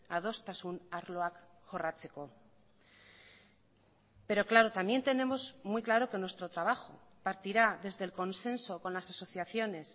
adostasun arloak jorratzeko pero claro también tenemos muy claro que nuestro trabajo partirá desde el consenso con las asociaciones